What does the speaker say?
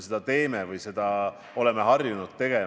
Hea peaminister Jüri!